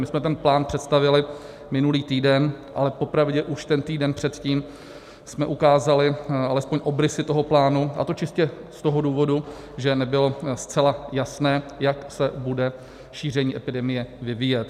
My jsme ten plán představili minulý týden, ale popravdě už ten týden předtím jsme ukázali alespoň obrysy toho plánu, a to čistě z toho důvodu, že nebylo zcela jasné, jak se bude šíření epidemie vyvíjet.